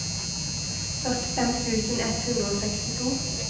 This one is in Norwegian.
førtifem tusen ett hundre og sekstito